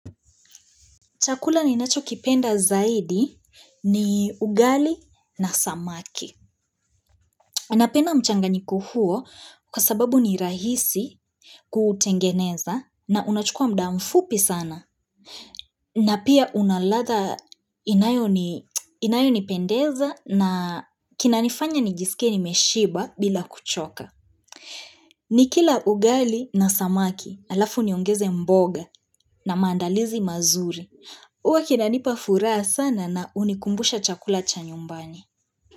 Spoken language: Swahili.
Chakula ninachokipenda zaidi ni ugali na samaki. Ninapenda mchanganyko huo kwa sababu ni rahisi kutengeneza na unachukua muda mfupi sana. Na pia una ladha inayonipendeza na kinanifanya nijiskie nimeshiba bila kuchoka. Nikila ugali na samaki allafu niongeze mboga na mandalizi mazuri. Uwa kinanipa furaha sana na hunikumbusha chakula cha nyumbani.